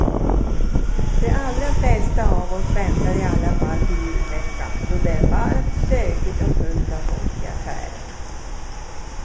De allra flesta av oss väntar i alla fall till julveckan då det är varmt, stökigt och fullt av folk i affärerna.